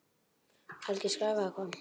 Alger skræfa eða hvað?